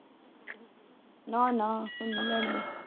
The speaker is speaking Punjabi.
ਨਾ ਨਾ ਹੁਣ ਨਹੀਂ ਲੜਦੇ